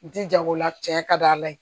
Ji janko la tiɲɛ ka d'a la ye